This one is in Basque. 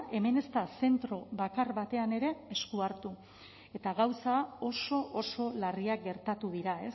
hemen ez da zentro bakar batean ere esku hartu eta gauza oso oso larriak gertatu dira